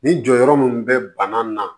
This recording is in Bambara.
Nin jɔyɔrɔ mun bɛ bana na